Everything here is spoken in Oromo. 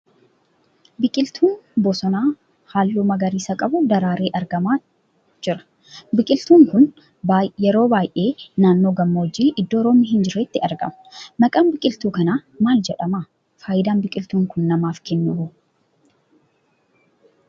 Biqiltuun bosonaa halluu magariisa qabu daraaree argamaa jira. biqiltuun kun yeroo baay'ee naannoo gammoojji iddoo roobii hin jirreetti argama. maqaan biqiltuu kana maal jedhama? , Faayidaan biqiltuun kun namaaf kennu hoo?